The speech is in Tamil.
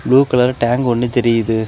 ப்ளூ கலர் டேங்க் ஒன்னு தெரியுது.